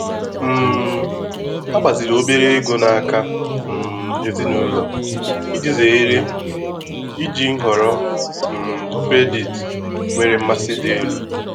um Ha gbaziri obere ego n'aka um ezinụlọ iji zere iji nhọrọ um kredit nwere mmasị dị elu.